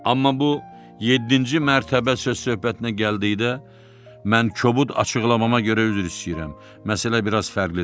Amma bu yeddinci mərtəbə söz-söhbətinə gəldikdə mən kobud açıqlamama görə üzr istəyirəm, məsələ bir az fərqlidir.